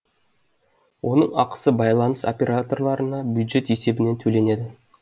оның ақысы байланыс операторларына бюджет есебінен төленеді